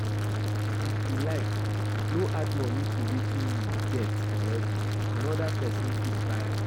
If you like no add money to wetin you get already another person fit buy am